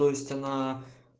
то есть она